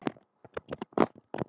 Hver á út?